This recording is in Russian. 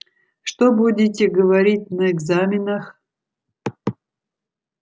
что будете говорить на экзаменах